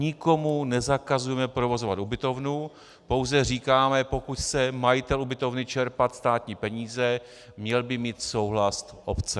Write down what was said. Nikomu nezakazujeme provozovat ubytovnu, pouze říkáme, pokud chce majitel ubytovny čerpat státní peníze, měl by mít souhlas obce.